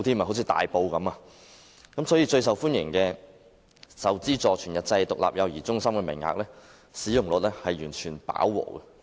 所以，最受家長歡迎的受資助全日制獨立幼兒中心的名額，使用率已經完全飽和。